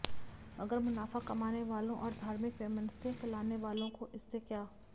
मगर मुनाफा कमाने वालों और धार्मिक वैमनस्य फैलाने वालों को इससे क्या